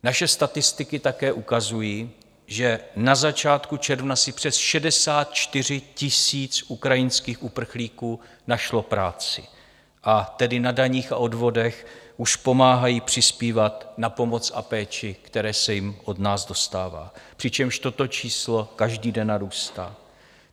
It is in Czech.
Naše statistiky také ukazují, že na začátku června si přes 64 tisíc ukrajinských uprchlíků našlo práci, a tedy na daních a odvodech už pomáhají přispívat na pomoc a péči, které se jim od nás dostává, přičemž toto číslo každý den narůstá.